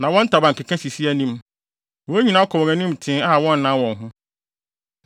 na wɔn ntaban keka sisi anim. Wɔn nyinaa kɔ wɔn anim tee a wɔnnan wɔn ho.